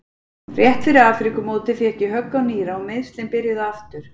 Rétt fyrir Afríkumótið fékk ég högg á nýra og meiðslin byrjuðu aftur.